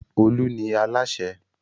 Olú ni alasẹ́.